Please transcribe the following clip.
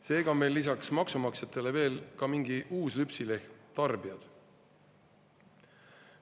Seega on meil lisaks maksumaksjatele veel ka mingi uus lüpsilehm, tarbijad.